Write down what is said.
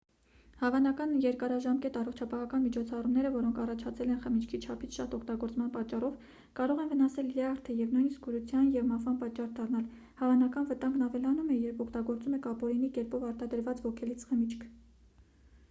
հավանական երկարաժամկետ առողջապահական միջոցառումները որոնք առաջացել են խմիչքի չափից շատ օգտագործման պատճառով կարող են վնասել լյարդը և նույնիսկ կուրության և մահվան պատճառ դառնալ հավանական վտանգն ավելանում է երբ օգտագործում եք ապօրինի կերպով արտադրված ոգելից խմիչք